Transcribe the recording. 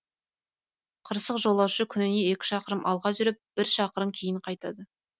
қырсық жолаушы күніне екі шақырым алға жүріп бір шақырым кейін қайтады